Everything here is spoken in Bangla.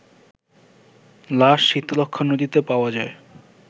লাশ শীতলক্ষ্যা নদীতে পাওয়া যায়